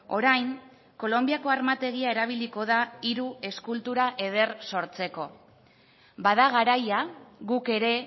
orain kolonbiako armategia erabiliko da hiru eskultura eder sortzeko bada garaia guk ere